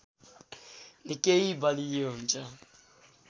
निकै बलियो हुन्छ